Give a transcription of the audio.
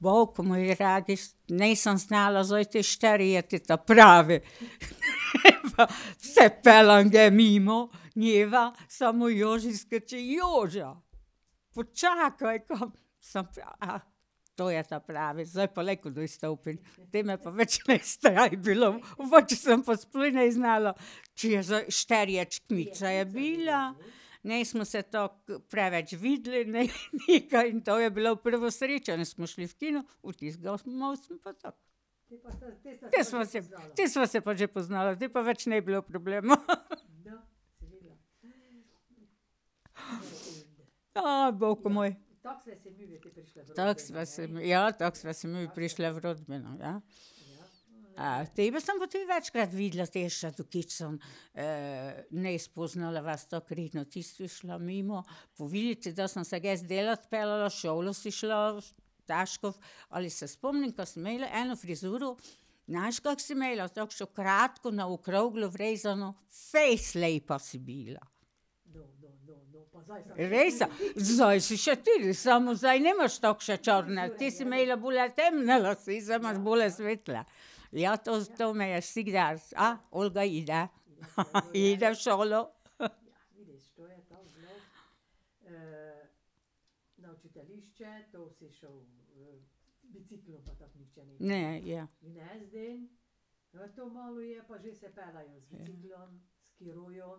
boug, nisem znala zdaj te, šteri je te ta pravi. Se peljem ge mimo njega, samo Joži skoči: "Joža, počakaj, kam?" Samo a ... To je ta pravi, zdaj pa lahko dol stopim. Te me pa več ni strah bilo. sem pa sploh ne znala, če je zdaj . Nismo se tako preveč videli, ne, nikaj, to je bilo prvo srečanje, smo šli v kino, od tistega smo pa tako. Te sva se, te sva se pa že poznala, zdaj pa več ni bilo problema. bogu moj. Tako sva se ... Tako sva se midve prišli v rodbino, ja. Tebe sem pa tudi večkrat videla, te , ti si šla mimo , kdaj sem se jaz delat peljala, v šolo si šla, . Ali se spomnim, ka si imela eno frizuro, znaš, kako si imela, takšno kratko, na okroglo vrezano, fejst lepa si bila. Rejsan, zdaj si še tudi, samo zdaj nimaš takšne črne, tej si imela bolj temne lase, zdaj imaš bolj svetle. Ja, to, to me je vsikdar, a, Olga ide, ide v šolo. Ne, ja. Ja.